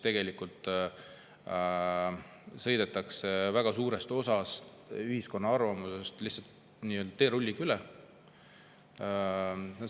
Tegelikult sõidetakse väga suurest osast ühiskonna arvamusest lihtsalt teerulliga üle.